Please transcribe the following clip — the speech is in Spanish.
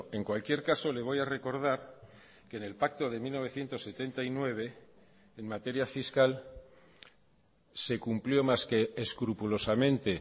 en cualquier caso le voy a recordar que en el pacto de mil novecientos setenta y nueve en materia fiscal se cumplió más que escrupulosamente